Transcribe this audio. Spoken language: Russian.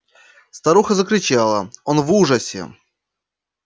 старуха закричал он в ужасе